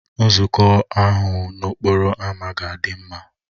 Nzukọ ahụ n'okporo ámá ga-adị mma